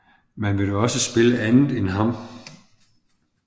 Man vil dog også spille andet end ham